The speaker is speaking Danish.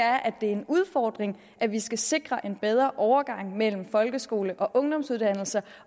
er at det er en udfordring at vi skal sikre en bedre overgang mellem folkeskole og ungdomsuddannelser